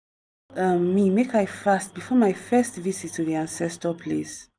dem tell um me make i fast before my first visit to di ancestor place.